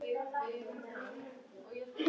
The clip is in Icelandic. Mætumst í miðju kafi.